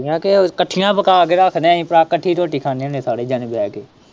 ਮੈਂ ਕਿਹਾ ਇੱਕਠੀਆਂ ਪਕਾ ਕੇ ਰੱਖਦੇ ਅਹੀ ਭਰਾ ਇੱਕਠੀ ਰੋਟੀ ਖਾਣੇ ਹੁਣੇ ਸਾਰੇ ਜਾਣੇ ਬਹਿ ਕੇ।